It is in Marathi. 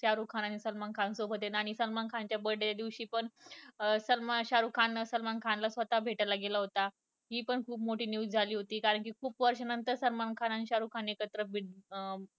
शारुख खान आणि सलमान खान सोबत ये आणि सलमान खान च्या birthday च्या दिवशी पण शारुख खान सलमान खान ला स्वतः भेटायला गेला होता हि पण खूप मोठी news झाली कारण कि खुप वर्ष्यानंतर सलमान खान आणि शारुख खान एकत्र